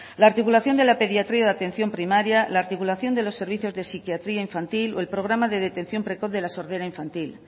la articulación de la pediatría de atención primaria la articulación de los servicios de psiquiatría infantil o el programa de detección precoz de la sordera infantil